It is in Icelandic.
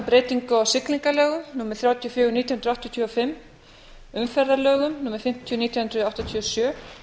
breytingu á siglingalögum númer þrjátíu og níu nítján hundruð áttatíu og fimm umferðarlögum númer fimmtíu nítján hundruð áttatíu og sjö